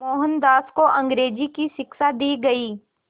मोहनदास को अंग्रेज़ी की शिक्षा दी गई